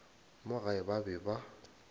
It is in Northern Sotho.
mo gae ba be ba